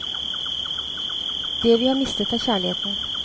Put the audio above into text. Det vi har mistet er kjærligheten.